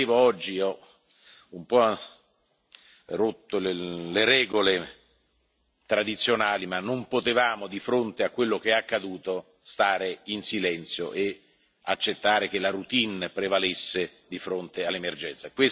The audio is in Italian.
Oggi ho rotto un po' le regole tradizionali ma non potevamo, di fronte a quello che è accaduto, stare in silenzio e accettare che la routine prevalesse di fronte all'emergenza.